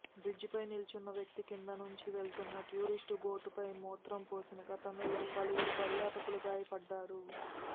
బ్రిడ్జిపై నిల్చున్న వ్యక్తి కింది నుంచి వెళ్తున్న టూరిస్టు బోటుపై మూత్రం పోసిన ఘటనలో పలువురు పర్యాటకులు గాయపడ్డారు